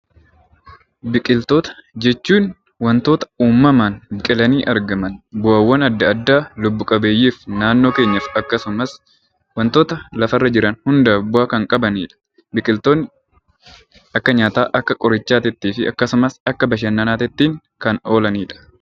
Biqiltoota jechuun waantota uumamaan biqilanii argaman, bu'aawwaan addaa addaa lubbu qabeeyyiif naannoo keenyaaf akkasumas waantota lafa irra jiran hundaaf bu'aa kan qabanidha. Biqiltoonni akka nyaataa, akka qorichaati fi akkasumas akka bashannanaatitti kan oolanidha.